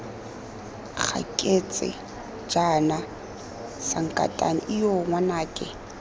gaketse jaana sankatane ijoo ngwanake